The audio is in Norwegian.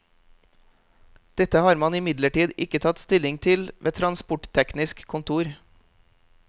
Dette har man imidlertid ikke tatt stilling til ved transportteknisk kontor.